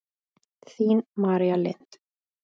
Þín, María Lind.